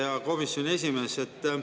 Hea komisjoni esimees!